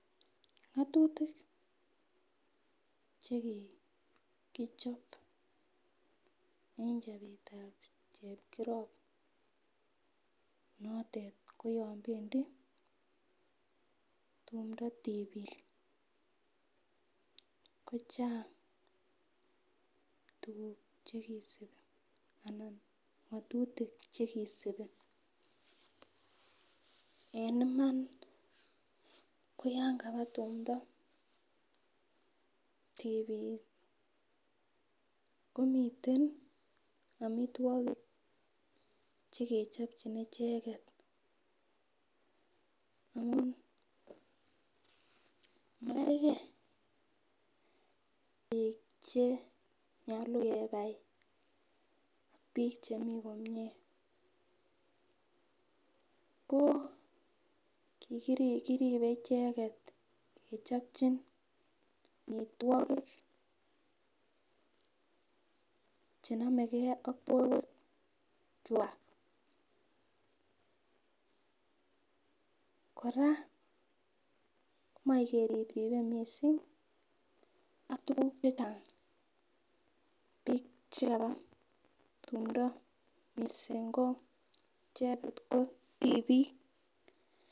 Ngotutik chekikichop en chopetab chepkirop notet koyon pendii tumdo tipik kochang tukuk chekisibi ana ngotutik chekisibi, en Iman koyon kaba tumdo tipik komiten omitwokik chekechopchin icheket amun makergee bik chenyolu kebai bik chemii komie ko kikirib koribe icheket kechopchin omitwokik chenomegee ak borwek kwak . Koraa moi keripripe missing ak tukuk chechang bik chekaba tumdo missing ko ichek ko tipik.